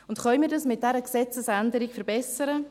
Können wir dies mit dieser Gesetzesänderung verbessern?